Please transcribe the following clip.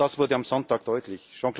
Auch das wurde am Sonntag deutlich.